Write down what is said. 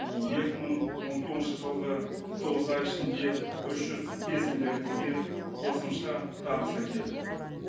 екі мың он тоғызыншы жылғы тоғыз ай ішінде үш жүз бес миллиард теңге қосымша табыс әкелді